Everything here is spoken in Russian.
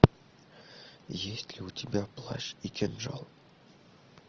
есть ли у тебя плащ и кинжал